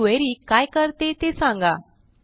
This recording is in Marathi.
ही क्वेरी काय करते ते सांगा